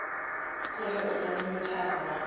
koni u tola mithara wa